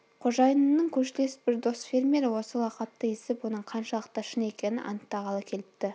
қожайынымның көршілес бір дос фермері осы лақапты естіп оның қаншалықты шын екенін анықтағалы келіпті